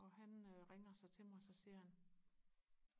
og han ringer så til mig så siger han